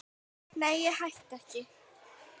Nei, ég hætti ekki.